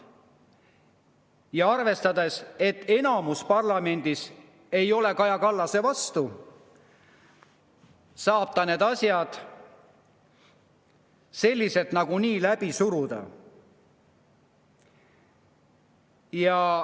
Ja kuna enamus parlamendis ei ole Kaja Kallase vastu, siis saab ta need asjad nagunii läbi suruda.